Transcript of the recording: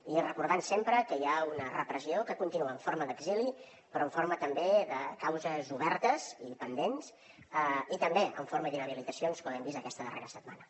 i recordant sempre que hi ha una repressió que continua en forma d’exili però en forma també de causes obertes i pendents i també en forma d’inhabilitacions com hem vist aquesta darrera setmana